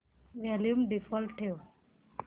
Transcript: volume default ठेव